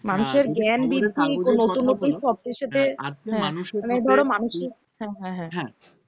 মানুষের জ্ঞান বৃদ্ধির নতুন নতুন হিসেবে হ্যাঁ যদি খবরের কাগজের কথা বলো আজকে মানুষের ধরো মানুষের হ্যাঁ হ্যাঁ হ্যাঁ